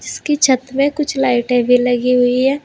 उसकी छत में कुछ लाइटें भी लगी हुई है।